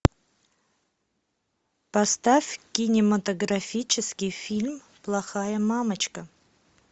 поставь кинематографический фильм плохая мамочка